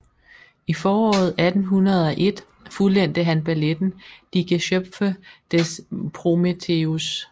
I foråret 1801 fuldendte han balletten Die Geschöpfe des Prometheus